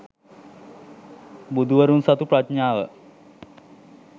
බුදුවරුන් සතු ප්‍රඥාව